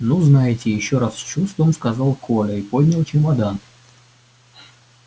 ну знаете ещё раз с чувством сказал коля и поднял чемодан